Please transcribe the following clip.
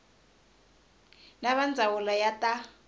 na va ndzawulo ya ta